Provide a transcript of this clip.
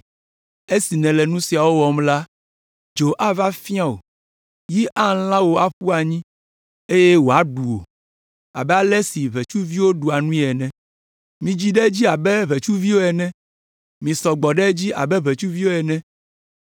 Esi nèle nu siawo wɔm la dzo ava fia wò; yi alã wò aƒu anyi, eye woaɖu wò abe ale si ʋetsuvi ɖua nui ene. Midzi ɖe edzi abe ʋetsuviwo ene, misɔ gbɔ ɖe edzi abe ʋetsuviwo ene.